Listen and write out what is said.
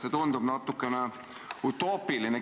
See tundub natukene utoopiline.